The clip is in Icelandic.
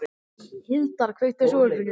Hildar, kveiktu á sjónvarpinu.